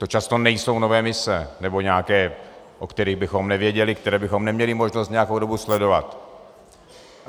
To často nejsou nové mise nebo nějaké, o kterých bychom nevěděli, které bychom neměli možnost nějakou dobu sledovat.